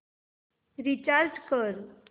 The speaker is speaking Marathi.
रीचार्ज कर